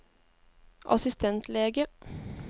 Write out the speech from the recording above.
assistentlege